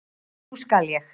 Nú skal ég.